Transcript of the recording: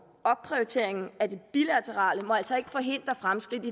opprioriteringen af det bilaterale må altså ikke forhindre fremskridt i